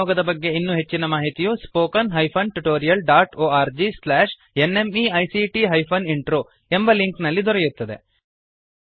ಈ ನಿಯೋಗದ ಬಗ್ಗೆ ಇನ್ನೂ ಹೆಚ್ಚಿನ ಮಾಹಿತಿಯು spoken hyphen tutorial dot O R G slash N M E I C T hyphen intro ಎಂಬ ಲಿಂಕ್ ನಲ್ಲಿ ದೊರೆಯುತ್ತದೆ